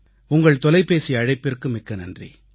உங்கள் தொலைபேசி அழைப்பிற்கு மிக்க நன்றி